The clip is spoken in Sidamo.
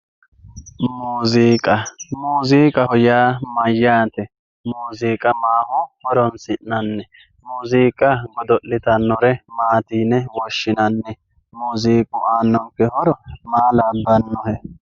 muuziiqa muziiqaho yaa mayyaate muziiqa maaho horonsi'nanni muziiqa godo'litannore maati yine woshshinanni muuziiqu aannonke horo maa labbannohe